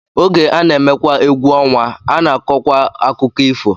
Oge a na-emekwa egwu ọnwa, a na-akọkwa akụkọ ifo